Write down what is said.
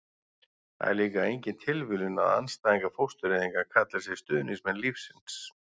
það er líklega engin tilviljun að andstæðingar fóstureyðinga kalli sig stuðningsmenn lífsins